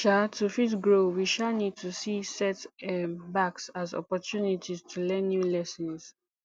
um to fit grow we um need to see set um backs as opportunity to learn new lessons